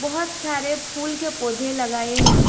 बहोत सारे फूल के पौधे लगाए हैं।